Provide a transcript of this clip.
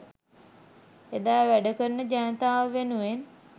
එදා වැඩකරන ජනතාව වෙනුවෙන්